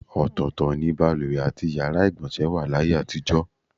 Ò̩tò̩ò̩tò̩ ni baluwè àti yàrá ìgbò̩nsè̩ wà láyé àtijò̩.